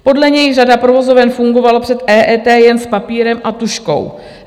Podle něj řada provozoven fungovala před EET jen s papírem a tužkou.